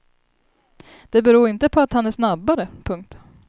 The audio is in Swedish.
Det beror inte på att han är snabbare. punkt